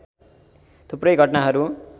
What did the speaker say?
थुप्रै घटनाहरु